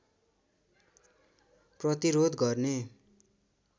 प्रतिरोध गर्ने